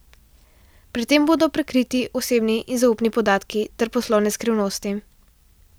Pri tem bodo prekriti osebni in zaupni podatki ter poslovne skrivnosti.